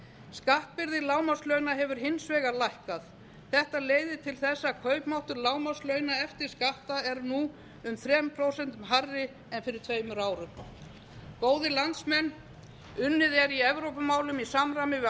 skattbyrði lágmarkslauna hefur hins vegar lækkað þetta leiðir til þess að kaupmáttur lágmarkslauna eftir skatta er nú um þrjú prósent hærri en fyrir tveimur árum góðir landsmenn unnið er í evrópumálum í samræmi við